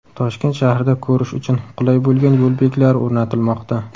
Toshkent shahrida ko‘rish uchun qulay bo‘lgan yo‘l belgilari o‘rnatilmoqda.